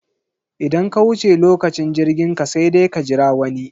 Idan ka wuce lokacin jirginka sai dai ka jira wani.